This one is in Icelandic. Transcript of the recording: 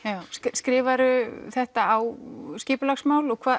skrifar þú þetta á skipulagsmál og